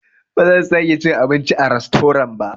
Bazan sake cin abinci a rastorant ba.